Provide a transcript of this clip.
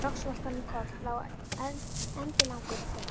Loks valt hann um koll, lá endilangur og hraut.